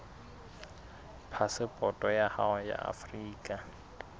phasepoto ya hao ya afrika